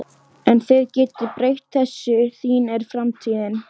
Vísindin væru í eilífri leit að sannindum.